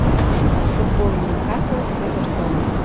футбол ньюкасл с эвертоном